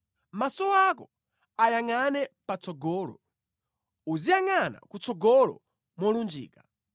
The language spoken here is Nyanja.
Maso ako ayangʼane patsogolo; uziyangʼana kutsogolo molunjika.